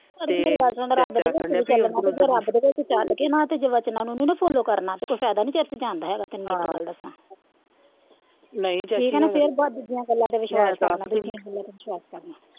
ਅੜੀਏ ਮੇਰੀ ਗੱਲ ਸੁਣ ਰੱਬ ਦੇ ਘਰ ਵਿਚ ਵੀ ਚਲਣਾ ਜੇ ਰੱਬ ਦੇ ਘਰ ਵਿਚ ਚਲ ਕੇ ਨਾ ਕੇ ਵਚਨਾਂ ਨੂੰ ਨਹੀਂ ਨਾ ਫੋਲੋ ਕਰਨਾ ਤੇ ਕੋਈ ਫਾਇਦਾ ਨਹੀਂ ਇੱਥੇ ਜਾਣ ਦਾ ਹੇਗਾ ਤੈਨੂੰ ਮੈ ਇਕ ਗੱਲ ਦਸਾ ਫਿਰ ਬਾਹਰ ਦੂਜਿਆਂ ਗੱਲਾਂ ਤੇ ਵਿਸ਼ਵਾਸ ਕਰਨਾ ਦੂਜੀਆਂ ਗੱਲਾਂ ਤੇ ਵਿਸ਼ਵਾਸ ਕਰਨਾ